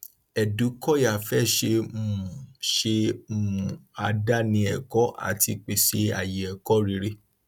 edukoya fẹ ṣe um ṣe um àdáni ẹkọ àti pèsè ààyè ẹkọ rere